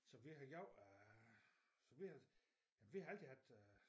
Så vi har gjort øh så vi har vi har altid haft øh